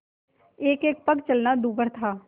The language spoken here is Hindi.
एकएक पग चलना दूभर था